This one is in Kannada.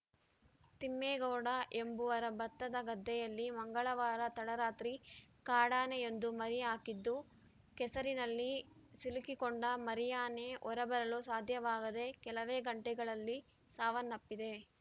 ತಿಮ್ಮೇಗೌಡ ಎಂಬುವರ ಭತ್ತದ ಗದ್ದೆಯಲ್ಲಿ ಮಂಗಳವಾರ ತಡರಾತ್ರಿ ಕಾಡಾನೆಯೊಂದು ಮರಿ ಹಾಕಿದ್ದು ಕೆಸರಿನಲ್ಲಿ ಸಿಲುಕಿಕೊಂಡ ಮರಿಯಾನೆ ಹೊರಬರಲು ಸಾಧ್ಯವಾಗದೇ ಕೆಲವೇ ಗಂಟೆಗಳಲ್ಲಿ ಸಾವನ್ನಪ್ಪಿದೆ